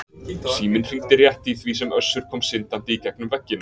Síminn hringdi rétt í því sem Össur kom syndandi í gegnum veggina.